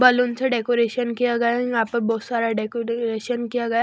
balloon से decoration किया गया यहां पर बहुत सारा डेकोरेशन किया गया--